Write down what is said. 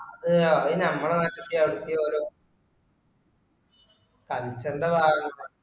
അത് അത് ഞമ്മളെ നാട്ടീതെ അവടത്തെ ഓര culture ൻറെ ഭാഗംആവ